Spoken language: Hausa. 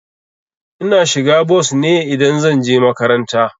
Ina shiga bos ne idan zan je makaranta.